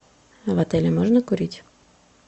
в отеле можно курить